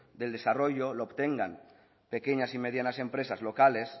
del desarrollo lo obtengan pequeñas y medianas empresas locales